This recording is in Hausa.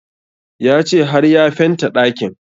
Ya ce har ya fenta ɗakin